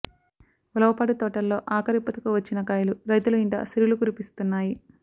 ఉలవపాడు తోటల్లో ఆఖరి పూతకు వచ్చిన కాయలు రైతుల ఇంట సిరులు కురిపిస్తున్నాయి